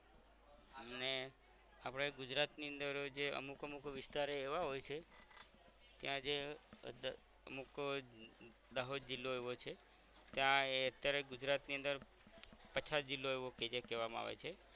આપણે ગુજરાતની અંદર જે અમુક અમુક વિસ્તરે એવા હોય છે ત્યાં જે અમુક દાહોદ જિલ્લો એવો છે ત્યાં એ અત્યારે ગુજરાત ની અંદર પછાત જિલ્લો એવો જે કેવામા આવે છે